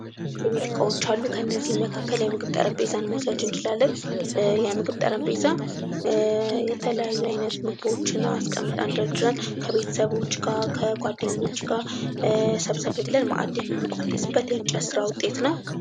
የቤት ዕቃዎች አሉ ።ከእነዚህም መካከል ጠረንቤዛን መውሰድ እንችላለን። የምግብ ጠረጴዛ የተለያዩ አይነት ምግቦችን አስቀምጠን ደርድረን ከቤተሰቦች ጋር ከጓደኞች ጋር ሰብሰብ ብለን ማእድ የምንቆደስበት የእንጨት ስራ ውጤት ነው።